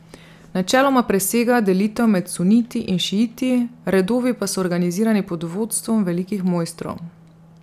Načeloma presega delitev med suniti in šiiti, redovi pa so organizirani pod vodstvom velikih mojstrov.